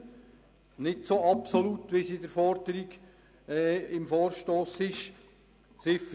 Diese Liste wäre nicht so absolut umfassend, wie es im Vorstoss gewünscht wird.